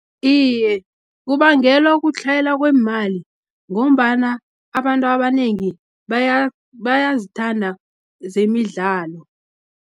Iye, kubangelwa kutlhayelwa kweemali, ngombana abantu abanengi bayazithanda zemidlalo.